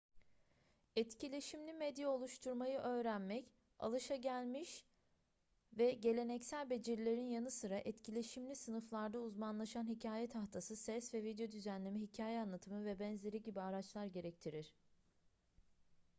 etkileşimli medya oluşturmayı öğrenmek alışılagelmiş ve geleneksel becerilerin yanı sıra etkileşimli sınıflarda uzmanlaşan hikaye tahtası ses ve video düzenleme hikaye anlatımı vb gibi araçlar gerektirir